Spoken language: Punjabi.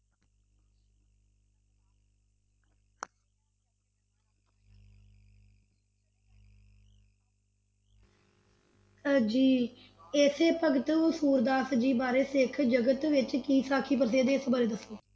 ਅਹ ਜੀ ਇਸੇ ਭਗਤ ਸੂਰਦਾਸ ਜੀ ਬਾਰੇ ਸਿੱਖ ਜਗਤ ਵਿਚ ਕੀ ਸਾਖੀ ਪ੍ਰਸਿੱਧ ਹੈ, ਇਸ ਬਾਰੇ ਦੱਸੋ